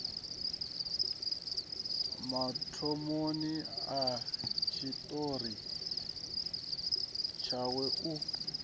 mathomoni a tshiṱori tshawe u